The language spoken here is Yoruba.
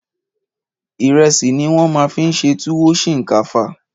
Ìrẹsì ni wọ́n fi ṣe túwó sìnkáfá.